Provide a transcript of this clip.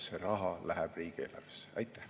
See raha läheb riigieelarvesse.